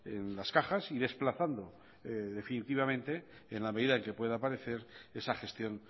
en las cajas y desplazando definitivamente en la medida en que pueda aparecer esa gestión